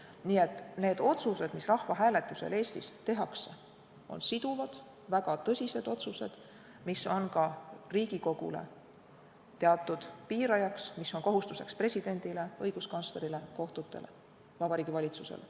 Nii et need otsused, mis rahvahääletusel Eestis tehakse, on siduvad, väga tõsised otsused, mis on ka Riigikogule teatud piirajaks ja mis on kohustuseks presidendile, õiguskantslerile, kohtutele, Vabariigi Valitsusele.